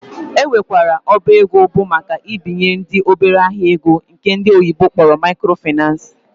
Ọ nwekwara ọba ego bụ maka ibinyendị obere ahịa ego nke ndi oyibo kpọrọ microfinace